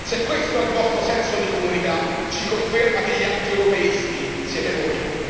Se questo è il vostro senso di comunità ci conferma che gli antieuropeisti siete voi!